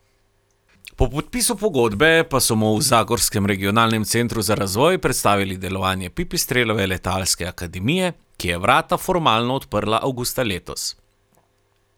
Po podpisu pogodbe pa so mu v zagorskem Regionalnem centru za razvoj predstavili delovanje Pipistrelove letalske akademije, ki je vrata formalno odprla avgusta letos.